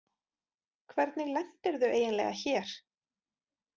Hvernig lentirðu eiginlega hér?